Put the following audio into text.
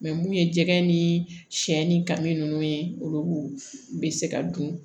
mun ye jɛgɛ ni sɛ ni kami nunnu ye olu bɛ se ka dun